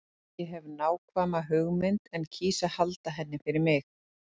Ég hef nákvæma hugmynd en kýs að halda henni fyrir mig.